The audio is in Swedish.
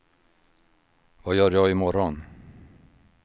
vad gör jag imorgon